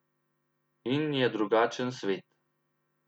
In je drugačen svet.